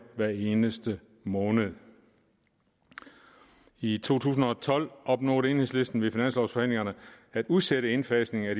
hver eneste måned i to tusind og tolv opnåede enhedslisten ved finanslovforhandlingerne at udsætte indfasningen af